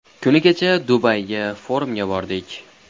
Kuni kecha Dubayga forumga bordik.